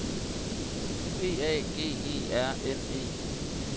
B A G E R N E